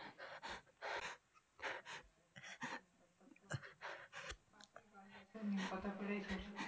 নিমপাতা করেই সুড়সুড়ি